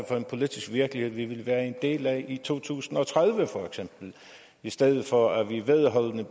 for en politisk virkelighed vi vil være en del af for i to tusind og tredive i stedet for at vi vedholdende